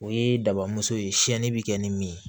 O ye dabamuso ye siyɛnni bɛ kɛ ni min ye